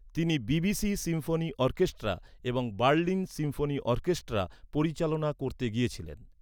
তিনি BBC symphony orchestra এবং Berlin symphony orchestra পরিচালনা করতে গিয়েছিলেন।